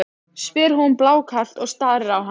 spyr hún blákalt og starir á hann.